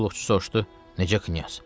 Qulluqçu soruşdu: Necə Knyaz?